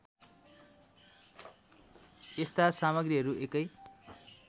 यस्ता सामग्रीहरू एकै